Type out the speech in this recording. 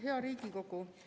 Hea Riigikogu!